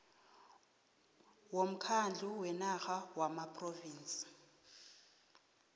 womkhandlu wenarha wamaphrovinsi